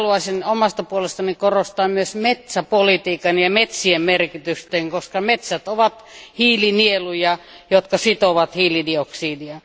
Haluan omasta puolestani korostaa myös metsäpolitiikan ja metsien merkitystä, koska metsät ovat hiilinieluja, jotka sitovat hiilidioksidia.